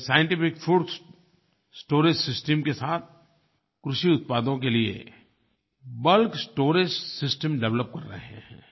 वो scientific fruits storage system के साथ कृषि उत्पादों के लिए बल्क स्टोरेज सिस्टम डेवलप कर रहे हैं